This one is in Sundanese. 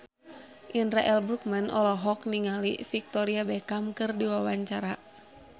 Indra L. Bruggman olohok ningali Victoria Beckham keur diwawancara